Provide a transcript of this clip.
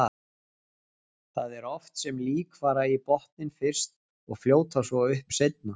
Það er oft sem lík fara í botninn fyrst og fljóta svo upp seinna.